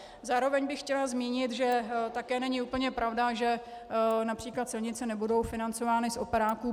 Zároveň bych chtěla zmínit, že také není úplně pravda, že například silnice nebudou financovány z operáků.